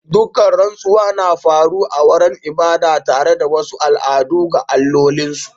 Ɗaukan rantsuwa na faru a wuraren ibada tare da wasu al'adu ga allolin su.